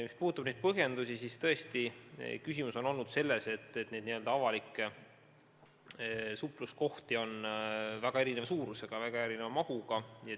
Mis puudutab neid põhjendusi, siis küsimus on olnud selles, et avalikke supluskohti on väga erineva suurusega, väga erineva mahutavusega.